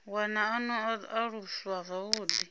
wana a no aluswa zwavhuḓi